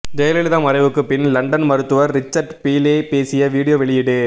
ஜெயலலிதா மறைவுக்குப் பின் லண்டன் மருத்துவர் ரிச்சர்ட் பீலே பேசிய வீடியோ வெளியீடு